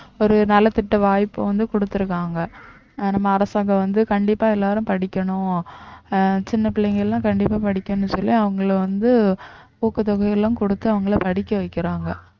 ஒரு நலத்திட்ட வாய்ப்பை வந்து குடுத்திருக்காங்க நம்ம அரசாங்கம் வந்து கண்டிப்பா எல்லாரும் படிக்கணும் அஹ் சின்ன பிள்ளைங்கெல்லாம் கண்டிப்பா படிக்கணும்ன்னு சொல்லி அவங்களை வந்து ஊக்கத்தொகை எல்லாம் குடுத்து அவங்களை படிக்க வைக்கிறாங்க